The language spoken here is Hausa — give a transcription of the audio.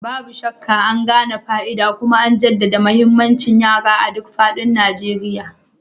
Babu shakka, an gane fa'ida kuma an jaddada muhimmancin yara a duk faɗin Najeriya.